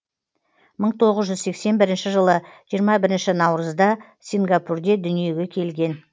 мың тоғыз жүз сексен бірінші жылы жиырма бірінші наурызда сингапурде дүниеге келген